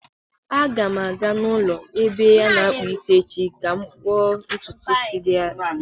Aga m aga n'ụlọ ebe a na-akpụ isi echi ka m kpụọ ntutu isi dị larịị.